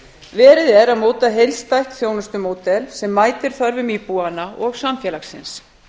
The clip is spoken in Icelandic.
verið er að móta heildstætt þjónustumódel sem mætir þörfum íbúanna og samfélagsins